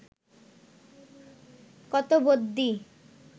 কত বদ্যি